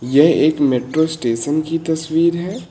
ये एक metro station की तस्वीर है।